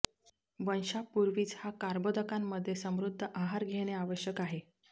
वंशापूर्वीच हा कर्बोदकांमधे समृध्द आहार घेणे आवश्यक आहे